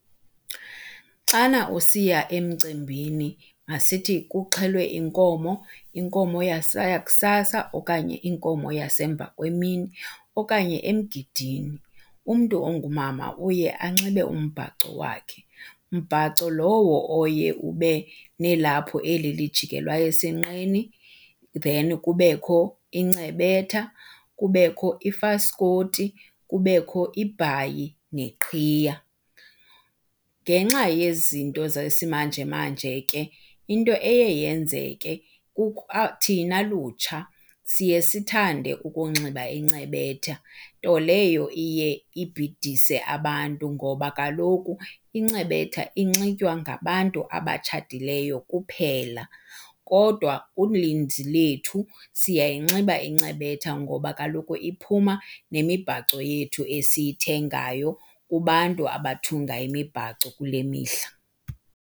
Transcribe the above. Xana usiya emcimbini masithi kuxhelwe inkomo, inkomo yakusasa okanye inkomo yasemva kwemini okanye emgidini umntu ongumama uye anxibe umbhaco wakhe, mbhaco lowo oye ube nelaphu eli lijikelwa esinqeni then kubekho incebetha, kubekho ifaskoti, kubekho ibhayi neqhiya. Ngenxa yezinto zesimanjemanje ke into eye yenzeke thina lutsha siye sithande ukunxiba incebetha nto leyo iye ibhidise abantu, ngoba kaloku incebetha inxitywa ngabantu abatshatileyo kuphela. Kodwa uninzi lethu siyayinxiba incebetha ngoba kaloku iphuma nemibhaco yethu esiyithengayo kubantu abathunga imibhaco kule mihla.